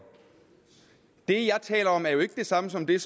det jeg taler om er jo ikke det samme som det